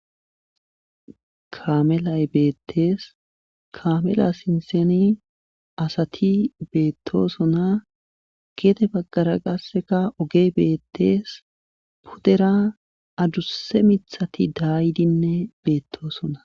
kamelay beettees kamela sinseni asati beettosona geete baggara qasseka ogey beettees puddera adusse mithati daaydinne beettosona